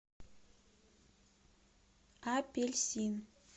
апельсин